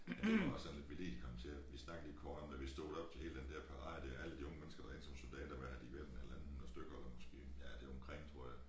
Men det var også at vi lige kom til at vi snakkede lige kort om da vi stod deroppe til hele den dér parade dér alle de unge mennesker der er inde som soldater hvad har de været en halvanden 100 stykker måske ja der omkring tror jeg